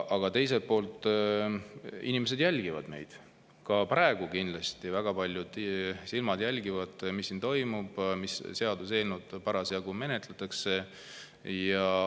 Aga teiselt poolt, inimesed jälgivad meid, ka praegu kindlasti väga paljud silmad jälgivad, mis siin toimub, mis seaduseelnõu parasjagu menetletakse.